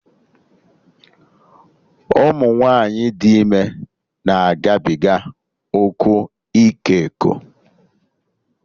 Ụmụ nwaanyị dị ime na-agabiga ụkwụ iko eko